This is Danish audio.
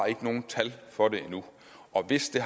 nogen tal for det endnu og hvis det